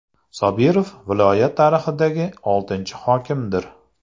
Sobirov viloyat tarixidagi oltinchi hokimdir.